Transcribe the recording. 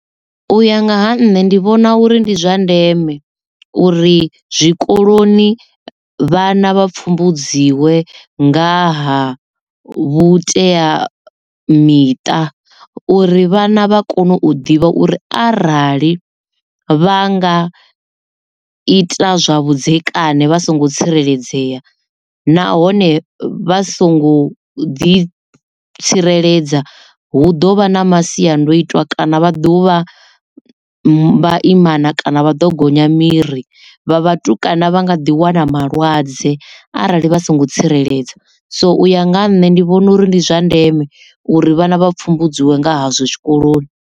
Uya nga ha nṋe ndi vhona uri ndi zwa ndeme uri zwikoloni vhana vha pfumbudziwe nga ha vhuteamiṱa uri vhana vha kone u ḓivha uri arali vha nga ita zwa vhudzekani vha songo tsireledzea nahone vha songo ḓi tsireledza hu ḓovha na masiandoitwa kana vha ḓovha vhaimana kana vha ḓo gonya miri vha vhatukana vha nga ḓi wana malwadze arali vha songo tsireledza so u ya nga ha nṋe ndi vhona uri ndi zwa ndeme uri vhana vha pfumbedziwe nga hazwo tshikoloni.